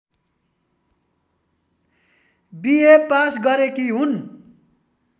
BA pass गरेकी हुन्